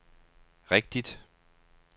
rigtigt